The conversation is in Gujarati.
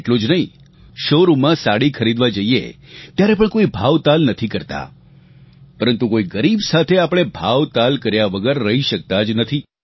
એટલું જ નહીં શૉ રૂમમાં સાડી ખરીદવા જઇએ ત્યારે પણ કોઇ ભાવતાલ નથી કરતાં પરંતુ કોઇ ગરીબ સાથે આપણે ભાવતાલ કર્યા વગર રહી શકતા જ નથી